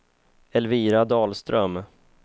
Elvira Dahlström